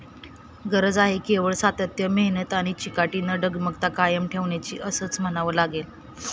गरज आहे केवळ सातत्य, मेहनत आणि चिकाटी न डगमगता कायम ठेवण्याची असंच म्हणावं लागेल.